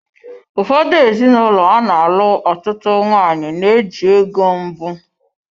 Ụfọdụ ezinụlọ ana-alụ ọtụtụ nwanyị na-eji ego mbụ.